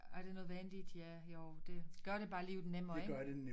Er det nødvendigt ja jo det gør det bare livet nemmere ikke